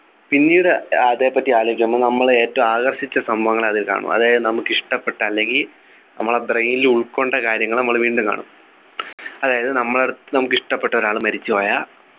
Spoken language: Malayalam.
പിന്നീട് അതേപറ്റി ആലോച്ചു അപ്പൊ നമ്മളെ ഏറ്റവും ആകർഷിച്ച സംഭവങ്ങൾ അതിൽ കാണും അതായത് നമുക്ക് ഇഷ്ടപ്പെട്ട അല്ലെങ്കിൽ നമ്മുടെ brain ൽ ഉൾക്കൊണ്ട കാര്യങ്ങൾ നമ്മൾ വീണ്ടും കാണും അതായത് നമ്മൾ അടുത്ത് നമ്മളെ ഇഷ്ടപ്പെട്ട ഒരാൾ മരിച്ചുപോയ